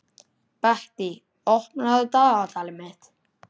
Bettý, opnaðu dagatalið mitt.